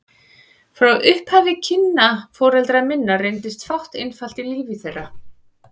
Frá upphafi kynna foreldra minna reyndist fátt einfalt í lífi þeirra.